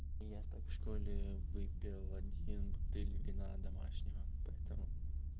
я так в школе выпил один бутыль вина домашнего поэтому